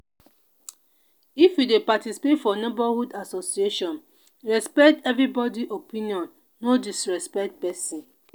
if you dey participate for neighborhood association respect everybody opinion no disrespect person.